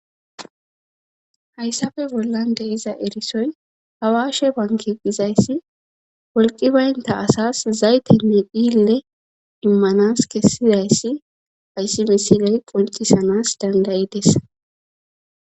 hayssafe bollan de'iza erisoy hawaashe bankiqizayssi wolqi baynta asas zayte ne phille immanas kessidayssi ayssi misiley qoncisanas dandayides